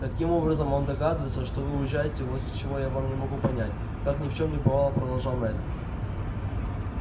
каким образом он догадывается что вы уезжаете вот чего я не могу понять как ни в чем не бывало продолжал мэтт